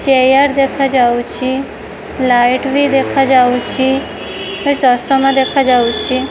Chair ଦେଖାଯାଉଛି light ବି ଦେଖାଯାଉଛି ଚଷମା ଦେଖାଯାଉଛି।